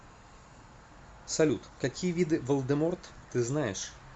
салют какие виды волдеморт ты знаешь